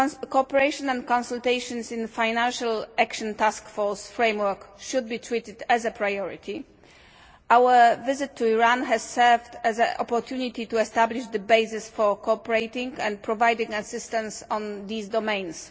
Cooperation and consultations in the Financial Action Task Force framework should be treated as a priority. Our visit to Iran has served as an opportunity to establish the basis for cooperating and providing assistance in these domains.